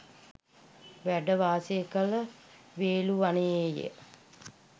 වැඩවාසය කළ වේළුවනයේ ය